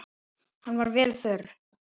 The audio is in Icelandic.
Hann var vel þurr.